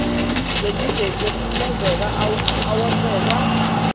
ngencindezi ngokuhlukumeza awoselwa